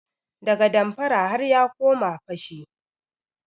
Daga damfara har ya koma fashi.